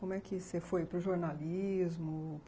Como é que você foi para o jornalismo...?